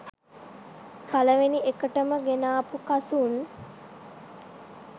පළවෙනි එකටම ගෙනාපු කසුන්